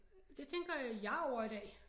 Det tænker jeg over i dag